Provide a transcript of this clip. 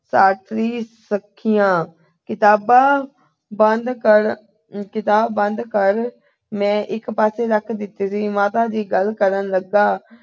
ਸ਼ਾਸਤਰੀ ਸਖੀਆ। ਕਿਤਾਬਾਂ ਬੰਦ ਕਰ ਅਹ ਕਿਤਾਬ ਬੰਦ ਕਰ ਮੈਂ ਇਕ ਪਾਸੇਂ ਰੱਖ ਦਿੱਤੀ ਸੀ। ਮਾਤਾ ਜੀ ਗੱਲ ਕਰਨ ਲੱਗਾ